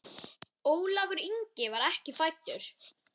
Ólafur Ingi var ekki fæddur.